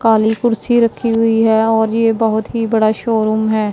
काली कुर्सी रखी हुई है और ये बहोत ही बड़ा शोरूम है।